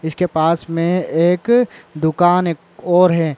इसके पास मे एक दुकान एक और है।